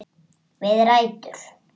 Við rætur